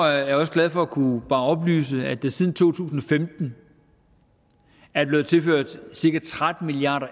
jeg også glad for at kunne oplyse at der siden to tusind og femten er blevet tilført cirka tretten milliard